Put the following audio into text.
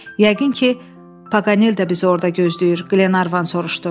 Yəqin ki, Paganel də bizi orda gözləyir, Qlenarvan soruşdu.